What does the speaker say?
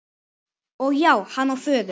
Og já, hann á föður.